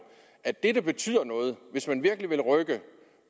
at det der betyder noget hvis man virkelig vil rykke